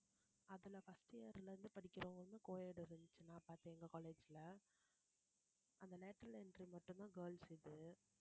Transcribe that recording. அதுல first year ல இருந்து படிக்கிறவங்களுக்கு co-ed எங்க college ல அந்த l ateral entry மட்டும்தான் girls இது